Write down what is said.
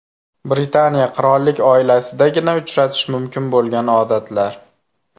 Britaniya qirollik oilasidagina uchratish mumkin bo‘lgan odatlar .